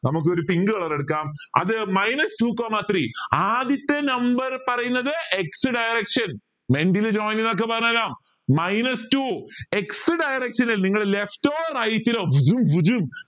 നമുക്കൊരു pink colour എടുക്കാം അത് minus two coma three ആദ്യത്തെ number പറയുന്നത് x direction minus two x direction ൽ നിങ്ങൾ left or right ലോ